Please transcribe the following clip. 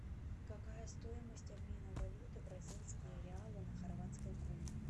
какая стоимость обмена валюты бразильские реалы на хорватские куны